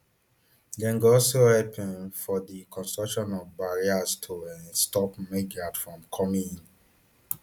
dem go also help um for di construction of barriers to um stop migrants from coming in